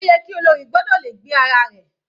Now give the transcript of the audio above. Ó yẹ ki olórí gbọ́dọ̀ le gbé ara rẹ̀.